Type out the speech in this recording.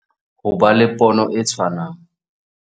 Ho ba le pono e tshwanang